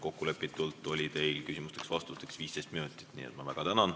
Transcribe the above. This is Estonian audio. Kokkulepitult oli teil küsimusteks-vastusteks 15 minutit.